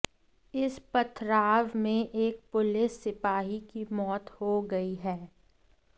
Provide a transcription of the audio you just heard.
इस पथराव में एक पुलिस सिपाही की मौत हो गई है